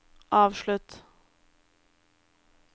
avslutt